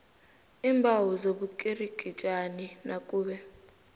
iimbawo zobukirikitjani nakube